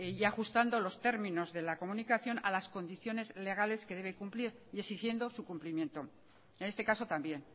y ajustando los términos de la comunicación a las condiciones legales que debe cumplir y exigiendo su cumplimiento en este caso también